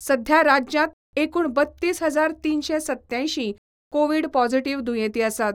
सध्या राज्यात एकूण बत्तीस हजार तीनशे सत्त्यांयशीं कोविड पॉझिटिव्ह दुयेंती आसात.